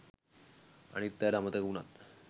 අනිත් අයට අමතක උනත්